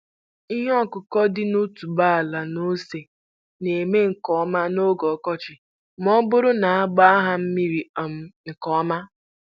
Ihe ọkụkụ dị ka otuboala na ose na-eme nke ọma n'oge ọkọchị ma ọ bụrụ na a na-agba ha mmiri um nke ọma.